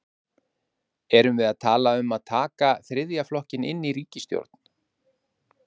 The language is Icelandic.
Höskuldur: Erum við að tala um að taka þriðja flokkinn inn í ríkisstjórn?